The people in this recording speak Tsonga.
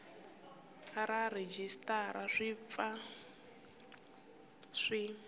na rhejisitara swi pfa swi